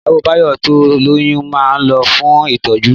Ìyàwó Báyọ̀ tó lóyún ma lọ fún ìtọ́jú